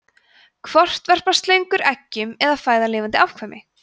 hvort verpa slöngur eggjum eða fæða lifandi afkvæmi